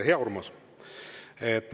Hea Urmas!